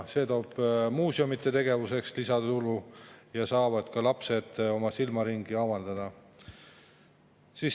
See toob muuseumide tegevuseks lisatulu ja lapsed saavad oma silmaringi avardada.